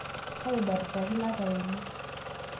Kaibatisaki lapa eimaa